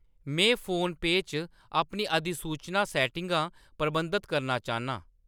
मैं फोनपेऽ च अपनी अधिसूचना सैट्टिंगां प्रबंधत करना चाह्‌न्नां।